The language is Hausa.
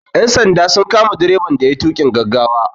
Ƴan sanda sun kama direban da yayi tuƙin gaggawa.